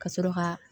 Ka sɔrɔ ka